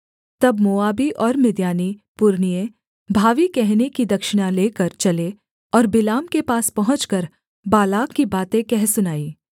तब मोआबी और मिद्यानी पुरनिये भावी कहने की दक्षिणा लेकर चले और बिलाम के पास पहुँचकर बालाक की बातें कह सुनाईं